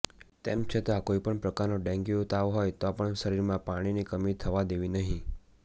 તેમછતાં કોઈપણ પ્રકારનો ડેન્ગ્યુ તાવ હોય તો પણ શરીરમાં પાણીની કમી થવા દેવી નહિ